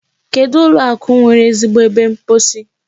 Kedụ ụlọ akụ nwere ezigbo ebe mposi?